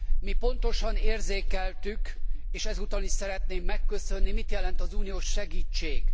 Mi pontosan érzékeltük, és ezúttal is szeretném megköszönni, mit jelent az uniós segítség.